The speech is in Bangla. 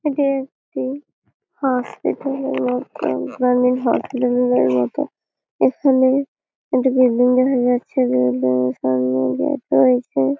এটি একটি হসপিটাল - এর মতন মানে হসপিটাল -এর মতো এখানে একটি বিল্ডিং দেখা যাচ্ছে বিল্ডিং -এঁর সামনে দিয়ে দু একজন ।